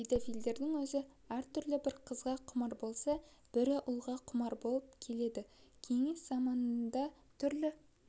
педофилдердің өзі әртүрлі бірі қызға құмар болса бірі ұлға құмар болып келеді кеңес заманында да түрлі